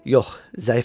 Yox, zəifəm.